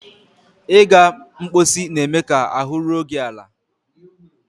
Ịga mposi na-eme ka ahụ́ ruo gị ala.